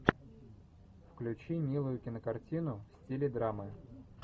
включи милую кинокартину в стиле драмы